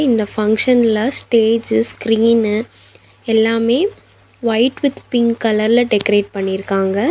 இந்த ஃபங்ஷன்ல stage screen எல்லாமே ஒயிட் வித் பிங்க் கலர்ல டெக்கரேட் பண்ணியிருக்காங்க.